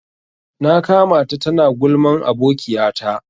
Na ƙamata ta na gulman abokiya ta.